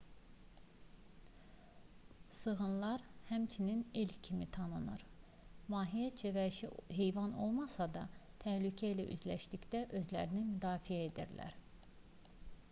sığınlar həmçinin elk kimi tanınır mahiyyətcə vəhşi heyvanlar olmasa da təhlükə ilə üzləşdikdə özlərini müdafiə edirlər